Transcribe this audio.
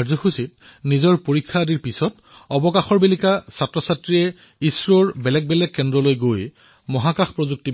এই কাৰ্যসূচীত পৰীক্ষাৰ পিছত ছুটিৰ সময়ছোৱাত শিক্ষাৰ্থীসকলে ইছৰৰ বিভিন্ন কেন্দ্ৰলৈ গৈ মহাকাশ প্ৰযুক্তি